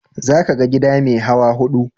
Za ka ga gida mai hawa hudu.